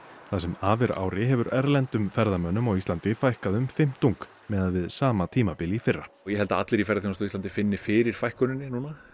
það sem af er ári hefur erlendum ferðamönnum á Íslandi fækkað um fimmtung miðað við sama tímabil í fyrra ég held að allir í ferðaþjónustunni finni fyrir fækkuninni